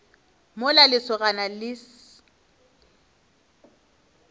mola lesogana le le se